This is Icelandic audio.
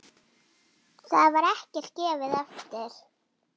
Þar var ekkert gefið eftir.